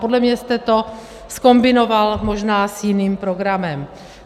Podle mě jste to zkombinoval možná s jiným programem.